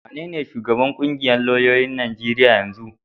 Wanene shugaban ƙungiyar lauyoyin Najeriya na yanzu?